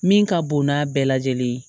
Min ka bon n'a bɛɛ lajɛlen ye